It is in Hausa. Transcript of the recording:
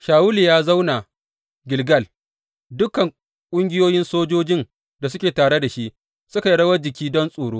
Shawulu ya zauna Gilgal, dukan ƙungiyoyi sojojin da suke tare da shi suka yi rawan jiki don tsoro.